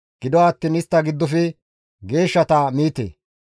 Gido attiin istta giddofe geeshshata miite.